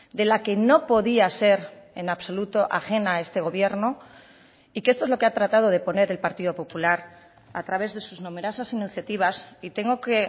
de la que no podía ser en absoluto ajena a este gobierno y que esto es lo que ha tratado de poner el partido popular a través de sus numerosas iniciativas y tengo que